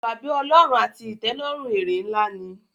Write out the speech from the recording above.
iwa-bi-Ọlọrun àti itẹlọrun èrè nlá ní.